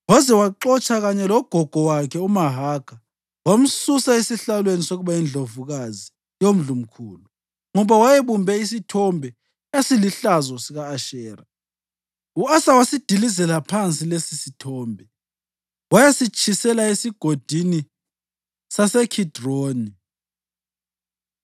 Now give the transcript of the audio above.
Waze waxotsha kanye logogo wakhe uMahakha wamsusa esihlalweni sokuba yindlovukazi yomndlunkulu, ngoba wayebumbe isithombe esilihlazo sika-Ashera. U-Asa wasidilizela phansi lesisithombe wayasitshisela eSigodini saseKhidironi.